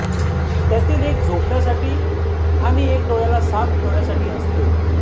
त्यातील एक झोपण्यासाठी आणि एक डोळ्याला साफ ठेवण्यासाठी असते